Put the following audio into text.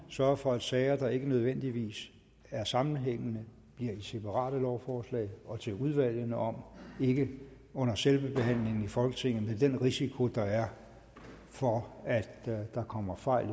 sørge for at sager der ikke nødvendigvis er sammenhængende bliver i separate lovforslag og til udvalgene om ikke under selve behandlingen i folketinget med den risiko der er for at der kommer fejl